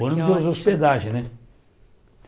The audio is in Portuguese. O ônibus hospedagem, né? Que ótimo